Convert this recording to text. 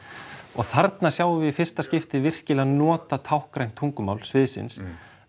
og þarna sjáum við í fyrsta skipti virkilega notað táknrænt tungumál sviðsins